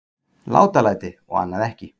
Látalæti og annað ekki.